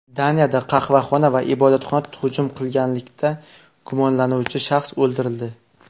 Daniyada qahvaxona va ibodatxonaga hujum qilganlikda gumonlanuvchi shaxs o‘ldirildi.